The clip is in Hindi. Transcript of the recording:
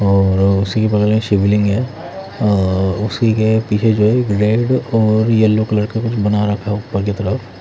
और उसी केे बगल में शिवलिंग है और उसी के पीछे जो है एक रेड और येलो कलर का कुछ बना रखा है ऊपर की तरफ--